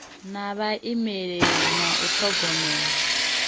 na vhaimeleli na u thogomela